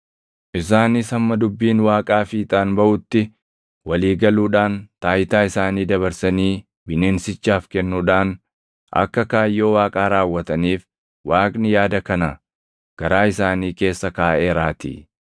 Isaanis hamma dubbiin Waaqaa fiixaan baʼutti walii galuudhaan taayitaa isaanii dabarsanii bineensichaaf kennuudhaan akka kaayyoo Waaqaa raawwataniif Waaqni yaada kana garaa isaanii keessa kaaʼeeraatii.